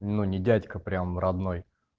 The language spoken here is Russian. ну не дядька прям родной